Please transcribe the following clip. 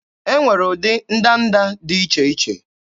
E nwere ụdị ndanda dị iche iche